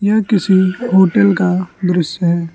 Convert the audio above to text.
यह किसी होटल का दृश्य है।